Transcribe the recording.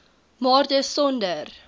maar dis sonder